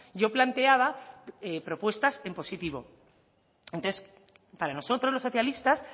yo planteaba propuestas en positivo entonces para nosotros los socialistas